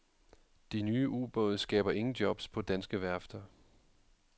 De nye ubåde skaber ingen jobs på danske værfter.